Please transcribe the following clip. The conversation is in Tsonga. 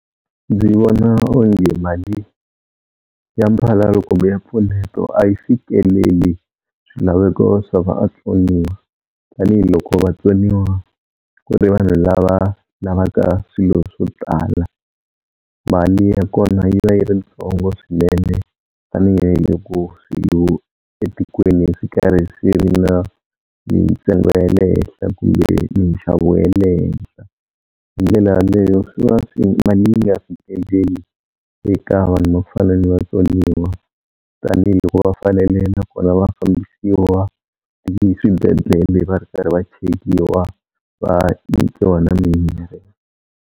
Ndzi vona onge mali ya mphalalo kumbe ya mpfuneto a yi fikeleli swilaveko swa vatsoniwa, tanihiloko vatsoniwa ku ri vanhu lava lavaka swilo swo tala, mali ya kona yi va yi ri yitsongo swinene tanihiloko etikweni swi karhi swi ri na ntsengo ya le henhla kumbe nxavo wa le hehla. Hi ndlela yaleyo mali yi nga fikeleli eka vanhu va ku fana ni vatsoniwa, tanihiloko va fanele na vona va fambisiwa eswibedlele va ri karhi va chekiwa va nyikiwa na mimirhi.